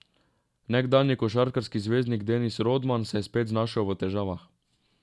Nekdanji košarkarski zvezdnik Denis Rodman se je spet znašel v težavah.